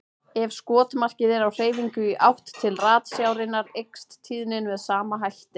Ef skotmarkið er á hreyfingu í átt til ratsjárinnar eykst tíðnin með sama hætti.